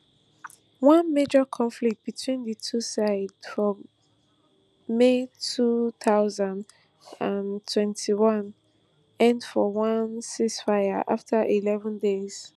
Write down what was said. one major conflict between di two sides for may two thousand and twenty-one end for one ceasefire afta eleven days